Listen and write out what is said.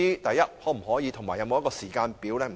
局長能否提供時間表呢？